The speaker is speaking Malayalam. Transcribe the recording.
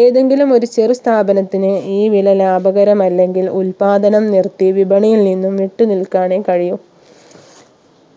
ഏതെങ്കിലും ഒരു ചെറു സ്ഥാപനത്തിന് ഈ വില ലാഭകരമല്ലെങ്കിൽ ഉൽപ്പാദനം നിർത്തി വിപണിയിൽ നിന്നും വിട്ടു നിൽക്കാനേ കഴിയൂ